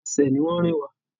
Ẹsẹ̀ ni wọn rìn wá.